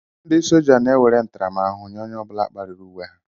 Ndị sójá na-enwere ntaramahụhụ nye onye ọ bụla kpariri uwe ha